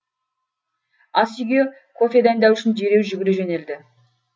ас үйге кофе дайындау үшін дереу жүгіре жөнелді